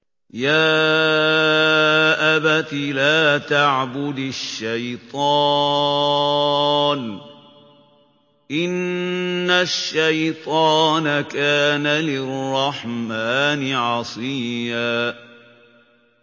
يَا أَبَتِ لَا تَعْبُدِ الشَّيْطَانَ ۖ إِنَّ الشَّيْطَانَ كَانَ لِلرَّحْمَٰنِ عَصِيًّا